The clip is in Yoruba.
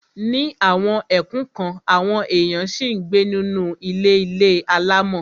Ní àwọn ẹkùn kan, àwọn èèyàn ṣì ń gbé nínú ilé ilé alámọ̀.